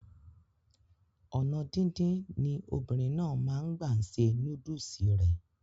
ònà díndín ni obìnrin náà máa n gbà se núdùsì rẹ̀